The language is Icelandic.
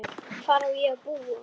Hvar á ég að búa?